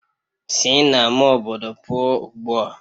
Sina ama obodo pụọ ugbua!